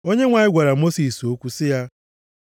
Onyenwe anyị gwara Mosis okwu sị ya,